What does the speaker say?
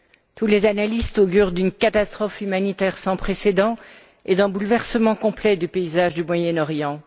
Tous les analystes augurent d'une catastrophe humanitaire sans précédent et d'un bouleversement complet du paysage du Moyen Orient.